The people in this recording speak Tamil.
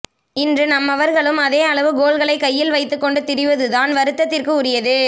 இன்று நம்மவர்களும் அதே அளவு கோல்கலை கையில் வைத்துக் கொண்டு திரிவது தான் வருத்தத்திற்கு உரியது